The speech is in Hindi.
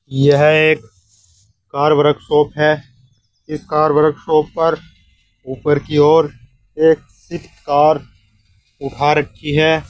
यह एक कार वर्कशॉप है इस कार वर्कशॉप पर ऊपर की ओर एक स्विफ्ट कार उठा रखी है।